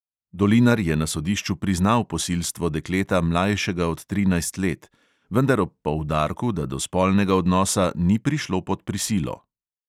Dolinar je na sodišču priznal posilstvo dekleta, mlajšega od trinajst let, vendar ob poudarku, da do spolnega odnosa ni prišlo pod prisilo.